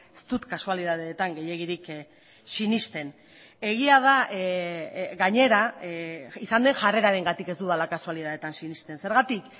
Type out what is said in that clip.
ez dut kasualitateetan gehiegirik sinesten egia da gainera izan den jarrerarengatik ez dudala kasualitateetan sinesten zergatik